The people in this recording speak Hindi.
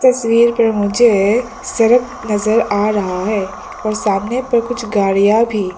तस्वीर पर मुझे सड़क नजर आ रहा है और सामने पर कुछ गाड़ियां भी।